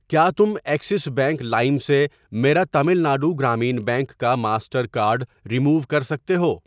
کیا تم Axis bank لائم سے میرا تامل ناڈو گرامین بینک کا ماسٹر کارڈ رموو کر سکتے ہو؟